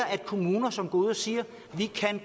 at kommuner som går ud og siger at de